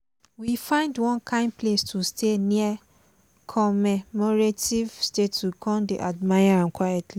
we find one kind place to stay near commemorative statue con dey admire am quietly.